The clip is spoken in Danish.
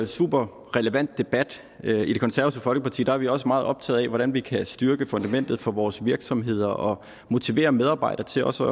superrelevant debat i det konservative folkeparti er vi også meget optaget af hvordan vi kan styrke fundamentet for vores virksomheder og motivere medarbejdere til også